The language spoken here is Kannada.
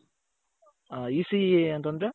ECEಅಂತಂದ್ರೆ?